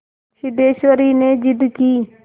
सिद्धेश्वरी ने जिद की